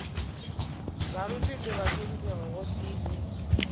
baruti le bahlomphegi gotee le